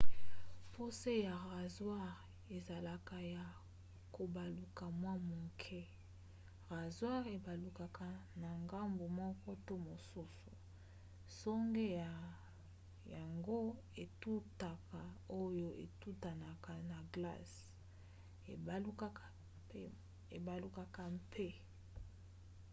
po se ya razware ezalaka ya kobaluka mwa moke razware ebalukaka na ngambu moko to mosusu nsonge na yango etutaka oyo etutanaka na glace ebalukaka mpe